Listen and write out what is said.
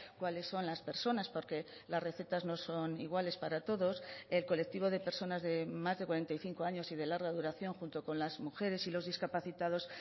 cuáles son las personas porque las recetas no son iguales para todos el colectivo de personas de más de cuarenta y cinco años y de larga duración junto con las mujeres y los discapacitados